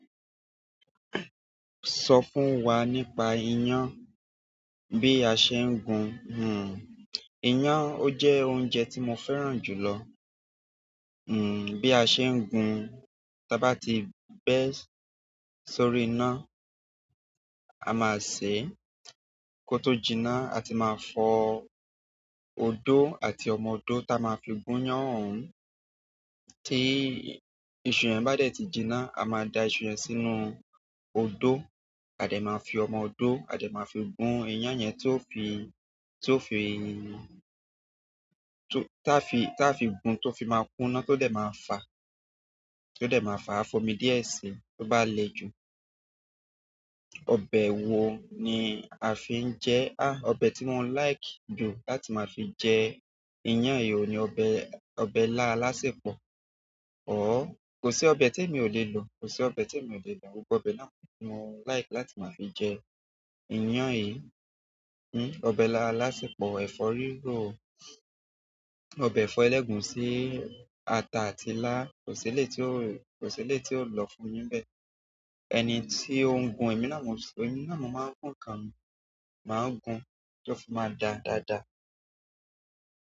Sọ fún wa nípa iyán, bí a ṣe ń gun. Hmm, iyán ó jẹ́ oúnjẹ tí mo fẹ́ràn jù lọ. Hmm, bí a ṣe ń gun, tí a bá ti bẹ́ẹ̀ sórí iná, a máa sè kó tó jinná, a ti máa fọ odó àti ọmọ odó ta máa fi gún iyán òun. Tí iṣu rẹ̀ bá dẹ̀ ti jinná, a máa da iṣu rẹ̀ sínú odó, a dẹ̀ máa fi ọmọ odó, a dẹ̀ máa fi gún iyán yẹn tó fi, tó fi, tó ta fi, ta fi gún tó fi máa kúná tó dẹ̀ máa fa, tó dẹ̀ máa fa, a fọn mí díẹ̀ sí, tó bá le ju. Ọbẹ̀ wo ni a fi ń jẹ ẹ? Há! Ọbẹ̀ tí mò ń like jù láti máa fi jẹ iyán èyí ni ọbẹ̀, ọbẹ̀ ilá alásẹ̀pọ̀. Òh, kò sí ọbẹ̀ tí èmi ò lè lò, kò sí ọbẹ̀ tí èmi ò lè lò. Gbogbo ọbẹ̀ náà ni tí mò ń like láti máa fi jẹ iyán yìí. Hmm, ọbẹ̀ ilá alásẹ̀pọ̀, ẹ̀fọ́ rírò, ọbẹ̀ ẹ̀fọ́ ẹlẹ́gùúsí, ata àti ilá, kò sí ilé tí ó, kò sí ilé tí ó lọ fún mi bẹ́ẹ̀. Ẹni tí ó ń gun, èmi náà mò ń sọ, èmi náà mò máa ń kàn mi, màá gún kí ó fi máa da dáadáa.